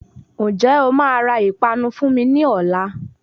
Ñjẹ́ o máa ra ìpanu fún mi ní ọ̀la?